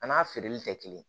A n'a feereli tɛ kelen ye